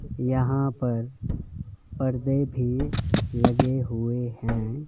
यहां पर पर्दे भी लगे हुए हैं।